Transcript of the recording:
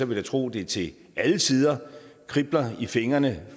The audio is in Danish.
vil jeg tro at det til alle tider kribler i fingrene